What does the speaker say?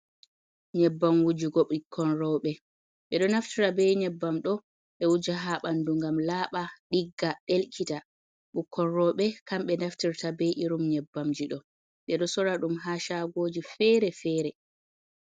Nyebbam wujugo bikkon robe, ɓedon naftira be nyebbam ɗo ɓe wuja ha ɓanndu ngam laaɓa, ɗigga, ɗelkita, ɓukkon rooɓe kamɓe naftirta be irim nyebbamji ɗo, ɓeɗo sorra ɗum ha saagoji feere-feere.